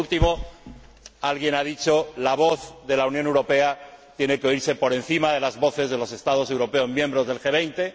Y, por último, alguien ha dicho que la voz de la Unión tiene que oírse por encima de las voces de los Estados europeos miembros del G 20.